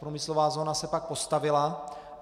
Průmyslová zóna se pak postavila.